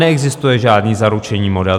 Neexistuje žádný zaručený model.